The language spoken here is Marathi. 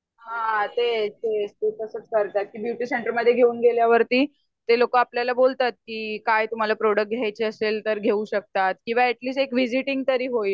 हा तेच तेच ते तसंच करतात ते ब्युटी सेंटरमध्ये घेऊन गेल्यावरती ते लोक आपल्याला बोलतात की काय तुम्हाला प्रोड़क्ट घ्यायचे असले तर घेऊ शकतात किंवा अटलीस्ट एक विझीटिंग तरी होइल